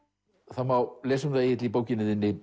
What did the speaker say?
það má lesa um það Egill í bókinni þinni